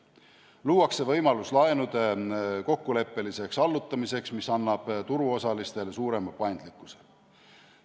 Luuakse võimalus laenude kokkuleppeliseks allutamiseks, mis annab turuosalistele suurema paindlikkuse.